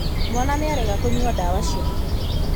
Mwana nĩarega künyua dawa ciake.